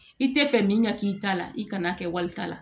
I tɛ fɛ min ka k'i ta la i kana kɛ walita la